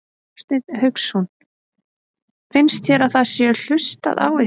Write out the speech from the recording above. Hafsteinn Hauksson: Finnst þér að það sé hlustað á ykkur?